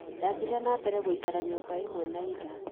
Ndathire na mbere gũikara nyumba ĩmwe na Ira.